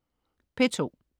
P2: